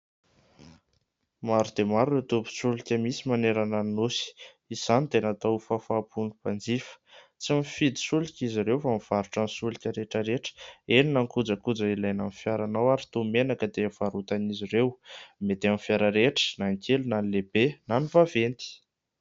Maro dia maro ireo tobin-tsolika misy manerana ny nosy, izany dia natao ho fahafaham-pon'ny mpanjifa tsy mifidy solika izy ireo fa mivarotra ny solika rehetraretra ; eny na ny kojakoja ilaina amin'ny fiaranao ary toy ny menaka dia varotan'izy ireo, mety amin'ny fiara rehetra na ny kely na ny lehibe na ny vaventy.